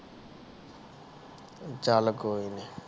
ਚਾਲ ਲੋਈ ਨਹੀਂ